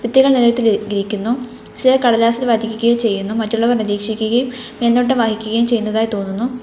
കുട്ടികൾ നിലത്തിൽ ഇരിക്കുന്നു ചിലർ കടലാസിൽ ചെയ്യുന്നു മറ്റുള്ളവർ നിരീക്ഷിക്കുകയും മേൽനോട്ടം വഹിക്കുകയും ചെയ്യുന്നതായി തോനുന്നു.